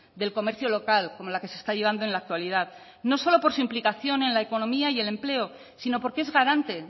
del comercio local como la que se está llevando en la actualidad no solo por su implicación en la economía y el empleo sino porque es garante